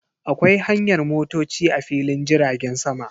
Akwai hanyar motoci a filin jiragen sama.